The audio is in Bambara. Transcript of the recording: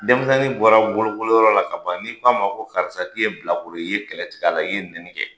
Denmisɛnnin bɔra bolokoli yɔrɔ la ka ban, n'i k'a ma ko karisa k'i ye bilakolo ye. I ye kɛlɛ tigɛ a la, i ye nɛni kɛ.